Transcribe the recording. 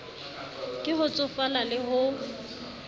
ke ho tsofala le ho